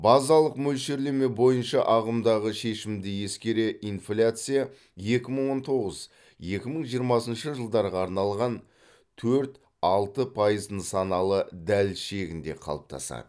базалық мөлшерлеме бойынша ағымдағы шешімді ескере инфляция екі мың он тоғыз екі мың жиырмасыншы жылдарға арналған төрт алты пайыз нысаналы дәліз шегінде қалыптасады